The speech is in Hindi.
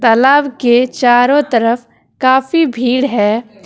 तालाब के चारों तरफ काफी भीड़ है।